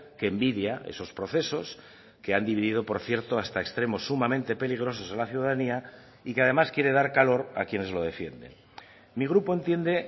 que envidia esos procesos que han dividido por cierto hasta extremos sumamente peligrosos a la ciudadanía y que además quiere dar calor a quienes lo defienden mi grupo entiende